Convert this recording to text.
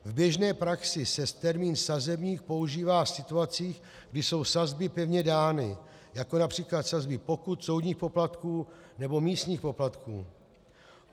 V běžné praxi se termín sazebník používá v situacích, kdy jsou sazby pevně dány, jako například sazby pokut, soudních poplatků nebo místních poplatků.